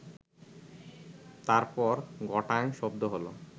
তারপর ঘটাং শব্দ হলো